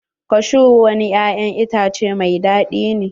Kashu wani ya'yan itace mai daɗi ne.